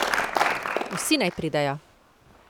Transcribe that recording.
Vsi naj pridejo!